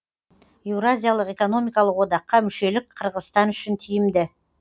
еуразиялық экономикалық одаққа мүшелік қырғызстан үшін тиімді